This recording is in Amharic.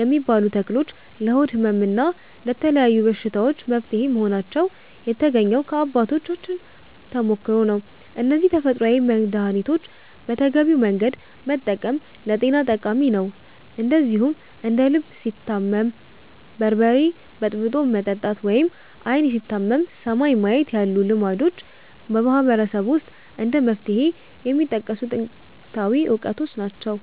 የሚባሉ ተክሎች ለሆድ ሕመም እና ለተለያዩ በሽታዎች መፍትሄ መሆናቸው የተገኘው ከአባቶቻችን ተሞክሮ ነው። እነዚህን ተፈጥሯዊ መድኃኒቶች በተገቢው መንገድ መጠቀም ለጤና ጠቃሚ ነው። እንደዚሁም እንደ 'ልብ ሲታመም በርበሬ በጥብጦ መጠጣት' ወይም 'ዓይን ሲታመም ሰማይን ማየት' ያሉ ልማዶችም በማህበረሰቡ ውስጥ እንደ መፍትሄ የሚጠቀሱ ጥንታዊ እውቀቶች ናቸው።